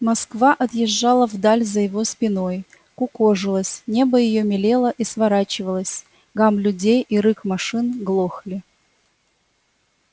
москва отъезжала вдаль за его спиной кукожилась небо её мелело и сворачивалось гам людей и рык машин глохли